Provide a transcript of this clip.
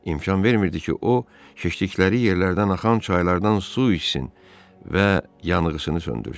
İmkan vermirdi ki, o, keşdikləri yerlərdən axan çaylardan su içsin və yanğısını söndürsün.